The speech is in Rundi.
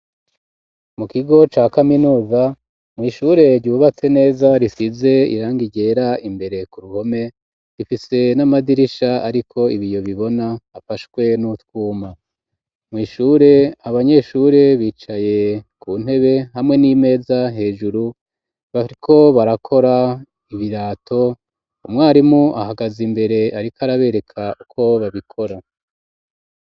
Mu kigo ca kaminoza mwishure ryubatse neza risize iranga iryera imbere ku ruhome rifise n'amadirisha, ariko ibi yo bibona afashwe n'utwuma mwishure abanyeshure bicaye ku ntebe hamwe n'imeza hejuru baiko barakora birato umwarimu ahagaze imbere, ariko arabereka uko babikora.